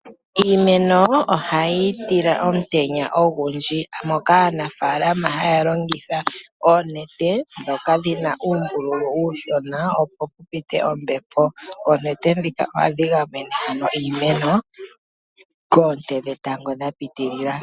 Iimeno ohayi tila omutenya ogundji moka aanafaalama haya longitha oonete ndhoka dhina uumbulu uushona opo pupite ombepo. Oonete ndhika ohadhi gamene iimeno koonte dhetango dha pitilila.